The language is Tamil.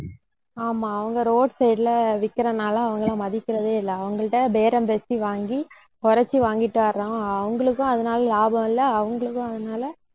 ஆமா அவங்க roadside ல விக்கிறதுனால அவங்களை மதிக்கிறதே இல்லை. அவங்கள்ட்ட பேரம் பேசி வாங்கி குறைச்சு வாங்கிட்டு வர்றோம் அவங்களுக்கும் அதனால லாபம் இல்லை அவங்களுக்கும் அதனால